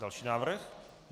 Další návrh.